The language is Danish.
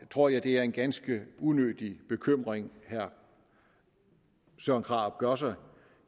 tror jeg det er en ganske unødig bekymring herre søren krarup gør sig